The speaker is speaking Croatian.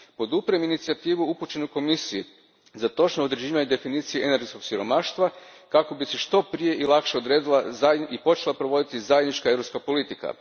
Podupirem inicijativu upućenu Komisiji za točno određivanje definicije energetskog siromaštva kako bi se što prije i lakše odredila i počela provoditi zajednička europska politika.